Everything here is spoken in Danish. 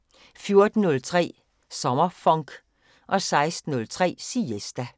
14:03: SommerFonk 16:03: Siesta